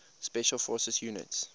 special forces units